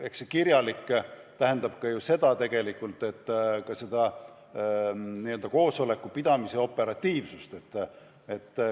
Eks see kirjalik otsus puudutab tegelikult ka koosolekupidamise operatiivsust.